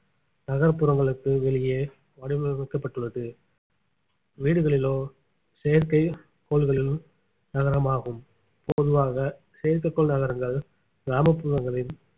நகர்ப்புறங்களுக்கு வெளியே வடிவமைக்கப்பட்டுள்ளது வீடுகளிலோ செயற்கைக்கோள்களிலோ நகரமாகும் பொதுவாக செயற்கைக்கோள் நகரங்கள் கிராமப்புறங்களில்